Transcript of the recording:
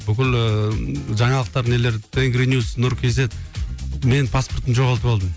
бүкіл ыыы жаңалықтар нелер тенгри ньюс нұр кейзет мен паспортымды жоғалтып алдым